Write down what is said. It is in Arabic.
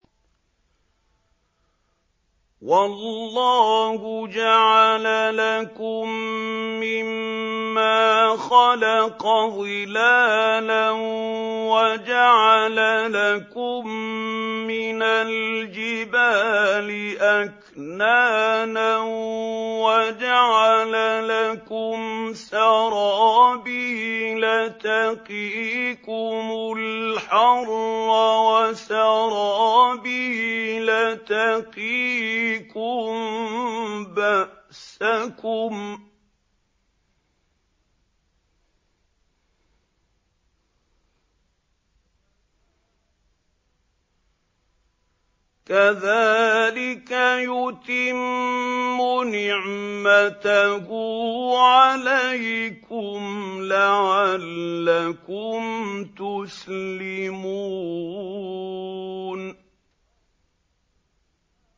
وَاللَّهُ جَعَلَ لَكُم مِّمَّا خَلَقَ ظِلَالًا وَجَعَلَ لَكُم مِّنَ الْجِبَالِ أَكْنَانًا وَجَعَلَ لَكُمْ سَرَابِيلَ تَقِيكُمُ الْحَرَّ وَسَرَابِيلَ تَقِيكُم بَأْسَكُمْ ۚ كَذَٰلِكَ يُتِمُّ نِعْمَتَهُ عَلَيْكُمْ لَعَلَّكُمْ تُسْلِمُونَ